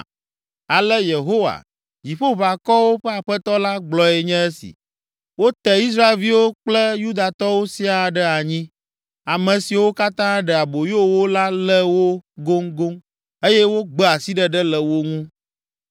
Ale Yehowa, Dziƒoʋakɔwo ƒe Aƒetɔ la, gblɔe nye esi: “Wote Israelviwo kple Yudatɔwo siaa ɖe anyi. Ame siwo katã ɖe aboyo wo la lé wo goŋgoŋ, eye wogbe asiɖeɖe le wo ŋu.